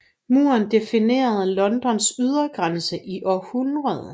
Muren definerede Londons ydergrænser i århundreder